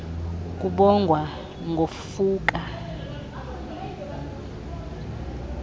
kubongwa ngokufa uqobo